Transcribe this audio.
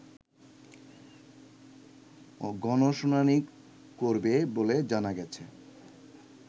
গণশুনানি করবে বলে জানা গেছে